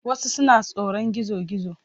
Wasu suna tsoron gizo-gizo.